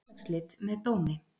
Félagsslit með dómi.